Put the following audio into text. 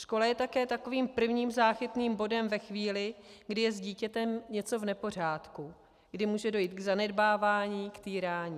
Škola je také takovým prvním záchytným bodem ve chvíli, kdy je s dítětem něco v nepořádku, kdy může dojít k zanedbávání, k týrání.